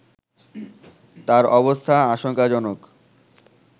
তার অবস্থা আশংকাজনক